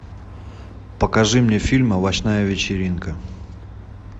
покажи мне фильм овощная вечеринка